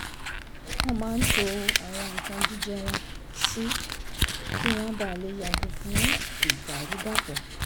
wọ́n máa ń to àwọn nǹkan jíjẹ wọ́n sí kí wọ́n bàa lè yàgò fún ìdàrúdàpò